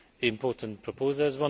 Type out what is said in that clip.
important proposals.